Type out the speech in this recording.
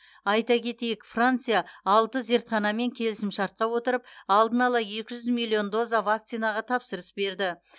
айта кетейік франция алты зертханамен келісімшартқа отырып алдын ала екі жүз доза миллион вакцинаға тапсырыс берді